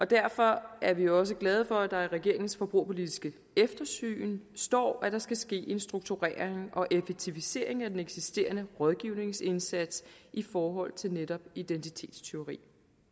derfor er vi også glade for at der i regeringens forbrugerpolitiske eftersyn står at der skal ske en strukturering og effektivisering af den eksisterende rådgivningsindsats i forhold til netop identitetstyveri